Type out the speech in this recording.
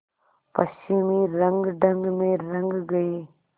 पश्चिमी रंगढंग में रंग गए